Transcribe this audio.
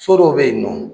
So dɔw bɛ yen nɔ